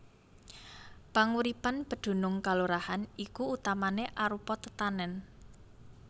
Panguripan pedunung kalurahan iki utamané arupa tetanèn